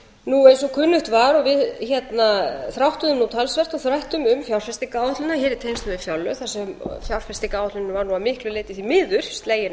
og kunnugt var og við þráttuðum nú talsvert og þrættum um fjárfestingaráætlunina hér í tengslum við fjárlög þar sem fjárfestingaráætlunina var nú að miklu leyti því miður slegin